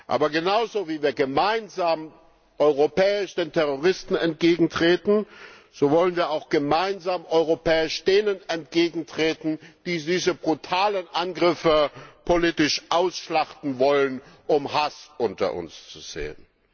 Aber genauso, wie wir gemeinsam europäisch den Terroristen entgegentreten, so wollen wir auch gemeinsam europäisch denen entgegentreten, die diese brutalen Angriffe politisch ausschlachten wollen, um Hass unter uns zu säen.